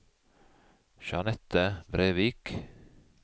Jeanette Brevik